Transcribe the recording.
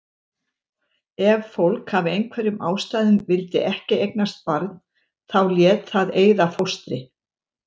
Ef fólk af einhverjum ástæðum vildi ekki eignast barn þá lét það eyða fóstri.